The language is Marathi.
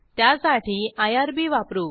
त्यासाठी आयआरबी वापरू